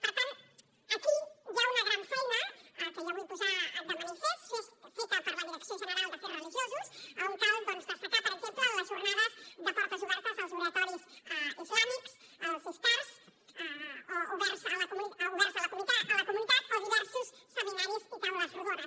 per tant aquí hi ha una gran feina que jo vull posar de manifest feta per la direcció general d’afers religiosos on cal destacar per exemple les jornades de portes obertes als oratoris islàmics als iftars oberts a la comunitat o diversos seminaris i taules rodones